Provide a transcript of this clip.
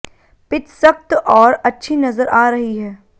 pitch सख्त और अच्छी नजर आ रही है